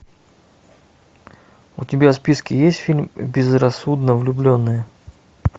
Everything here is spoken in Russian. у тебя в списке есть фильм безрассудно влюбленные